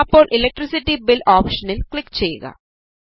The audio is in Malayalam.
അപ്പോൾ ഇലക്ട്രിസിറ്റി ബിൽ ഓപ്ഷനിൽ ക്ലിക് ചെയ്യുക